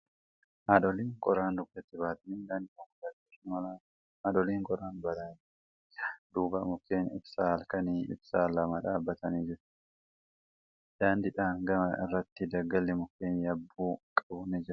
Haadholiin qoraan dugdatti baatanii daandii konkolaataa irra imalaa jiru. Haadholii qoraan baatanii deemaa jiran duuba mukkeen ibsaa halkanii ibsan lama dhaabbatanii jiru. Daandiidhaan gama irratti daggalli mukkeen yabbuu qabu ni jira.